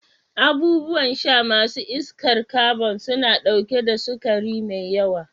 Abubuwan sha ma su iskar kabon suna ɗauke da sukari mai yawa.